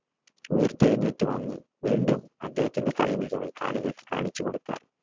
ഉയർത്തെഴുന്നേറ്റു വന്നു വീണ്ടും അദ്ദേഹത്തിന്റെ കളി മികവ് കാണികൾക്ക് കാണിച്ചു കൊടുക്കാൻ